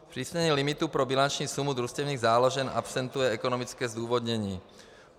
Zpřísnění limitu pro bilanční sumu družstevních záložen absentuje ekonomické zdůvodnění.